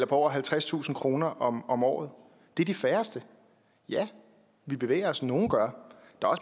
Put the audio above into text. på over halvtredstusind kroner om om året det er de færreste ja vi bevæger os nogle gør